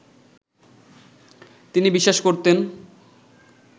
তিনি বিশ্বাস করতেন